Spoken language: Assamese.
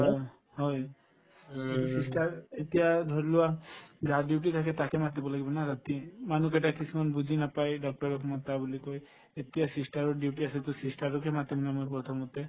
অ, হয় যিটো sister এতিয়া ধৰিলোৱা যাৰ duty থাকে তাকে মাতিব লাগিব না ৰাতি উম মানুহকেইটাই কিছুমান বুজি নাপাই doctor ক মাতা বুলি কই এতিয়া sister ৰৰ duty আছে to sister ৰকে মাতিম ন মই প্ৰথমতে